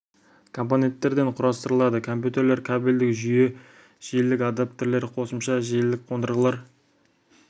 компоненттерден құрастырылады компьютерлер кабельдік жүйе желілік адаптерлер қосымша желілік қондырғылар